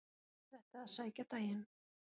Kallaðist þetta að sækja daginn.